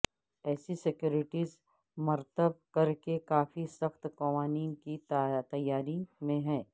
ایسی سیکیورٹیز مرتب کرکے کافی سخت قوانین کی تیاری میں ہیں